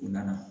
U nana